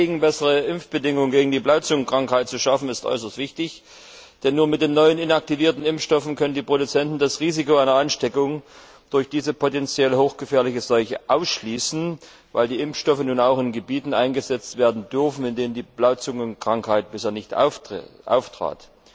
Das Anliegen, bessere Impfbedingungen gegen die Blauzungenkrankheit zu schaffen, ist äußerst wichtig, denn nur mit den neuen, inaktivierten Impfstoffen können die Produzenten das Risiko einer Ansteckung durch diese potenziell hochgefährliche Seuche ausschließen, weil die Impfstoffe nun auch in Gebieten eingesetzt werden dürfen, in denen die Blauzungenkrankheit bisher nicht auftrat.